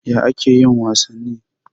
Ya ake yin wasanni?